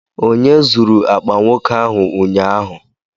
Onye zuru akpa nwoke ahụ ụnyaahụ?